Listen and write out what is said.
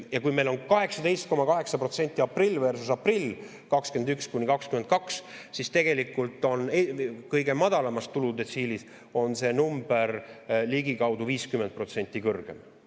Ja kui meil on 18,8% aprill 2021 versus aprill 2022, siis tegelikult on kõige madalamas tuludetsiilis see number ligikaudu 50% kõrgem.